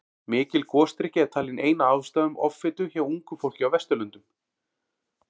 Mikil gosdrykkja er talin ein af ástæðum offitu hjá ungu fólki á Vesturlöndum.